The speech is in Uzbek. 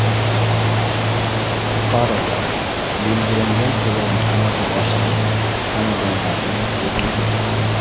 Fuqarolar belgilangan to‘lovni amalga oshirib, xonadonlarni egallagan.